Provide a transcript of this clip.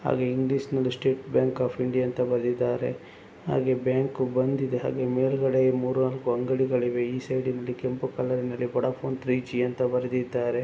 ಹಾಗೆ ಇಂಗ್ಲಿಷ್ ನಲ್ಲಿ State Bank of India ಅಂತ ಬರೆದಿದ್ದಾರೆ ಹಾಗೆ ಬ್ಯಾಂಕ್ ಬಂದಿದೆ ಹಾಗೆ ಮೇಲ್ಗಡೆ ಮೂರು ನಾಲ್ಕು ಅಂಗಡಿಗಳಿವೆ ಈ ಸೈಡಿನಲ್ಲಿ ಕೆಂಪು ಕಲರಿನಲ್ಲಿ ವೊಡಾಫೋನ್ ತ್ರೀ ಜಿ ಅಂತ ಬರೆದಿದ್ದಾರೆ.